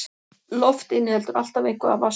Loft inniheldur alltaf eitthvað af vatnsgufu.